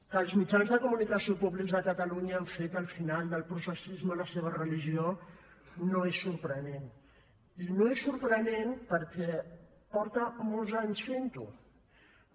que els mitjans de comunicació públics de catalunya han fet al final del processisme la seva religió no és sorprenent i no és sorprenent perquè fa molts anys que ho fa